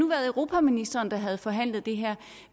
været europaministeren der havde forhandlet det her